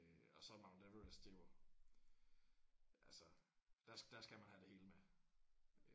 Øh og så Mount Everest det er jo altså der der skal man have det hele med